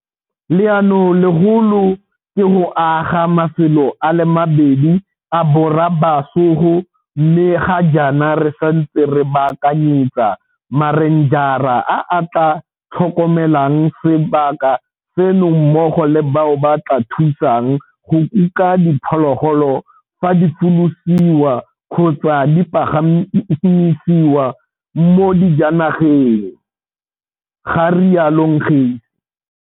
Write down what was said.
Leanolegolo ke go aga mafelo a le mabedi a borobasogo mme ga jaana re santse re baakanyetsa marenjara a a tla tlhokomelang sebaka seno mmogo le bao ba tla thusang go kuka diphologolo fa di folosiwa kgotsa di pagamisiwa mo dijanageng, ga rialo Ngesi.